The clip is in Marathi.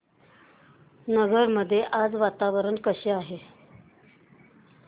नगर मध्ये आज वातावरण कसे आहे